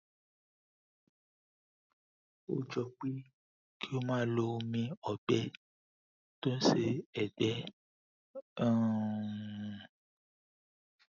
ó jọ pé kí o máa lo omi ọgbẹ tó ń ṣe ẹgbẹ um